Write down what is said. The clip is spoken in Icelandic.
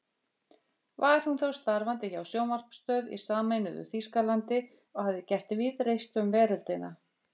Var hún þá starfandi hjá sjónvarpsstöð í sameinuðu Þýskalandi og hafði gert víðreist um veröldina.